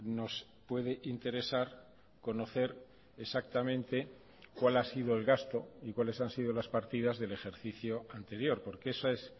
nos puede interesar conocer exactamente cuál ha sido el gasto y cuáles han sido las partidas del ejercicio anterior porque esa es